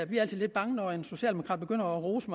lidt bange når en socialdemokrat begynder at rose